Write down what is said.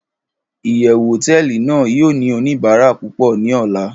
iyewu hoteeli nàá yio ni onibara pupo ni ola